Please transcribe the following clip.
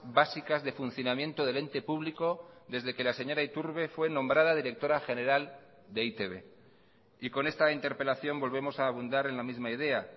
básicas de funcionamiento del ente público desde que la señora iturbe fue nombrada directora general de e i te be y con esta interpelación volvemos a abundar en la misma idea